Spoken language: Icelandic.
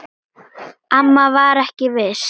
Auður systir er fallin frá.